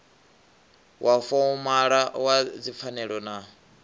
wa fomala wa dzipfanelo na